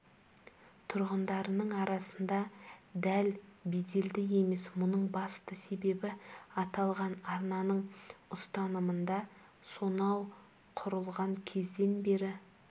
тұрғындарының арасында дәл беделді емес мұның басты себебі аталған арнаның ұстанымында сонау құрылған кезден бері